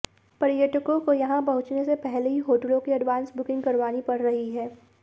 पर्यटकों को यहां पहुंचने से पहले ही होटलों की एडवांस बुकिंग करवानी पड़ रही है